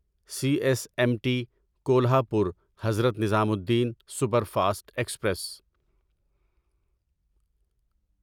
C S M T Kolhapur Hazrat Nizamuddin superfast express